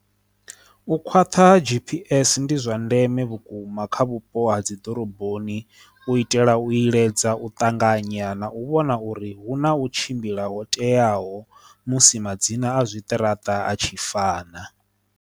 U khwaṱha gpg ndi zwa ndeme vhukuma kha vhupo ha dzi ḓoroboni u itela u iledza u ṱanganya na u vhona uri hu na u tshimbila ho teaho musi madzina a zwiṱaraṱa a tshi fana.